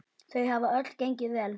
Þau hafa öll gengið vel.